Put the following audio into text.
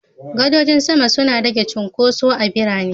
Gadojin sama suna rage cunkoso a birane.